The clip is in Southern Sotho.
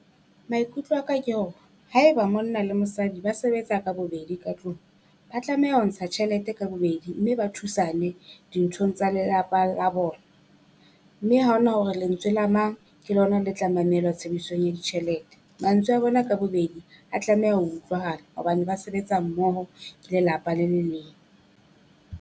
Maikutlo a ka ke hore haeba monna le mosadi ba sebetsa ka bobedi ka tlung, ba tlameha ho ntsha tjhelete ka bobedi mme ba thusane dinthong tsa lelapa la bona. Mme ha ho na hore lentswe la mang ke lona le tla mamelwa tshebedisong ya ditjhelete. Mantswe a bona ka bobedi a tlameha ho utlwahala hobane ba sebetsa mmoho ke lelapa le le leng.